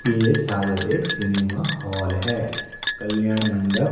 ये शायद एक सिनेमा हॉल है कल्याण मंडप--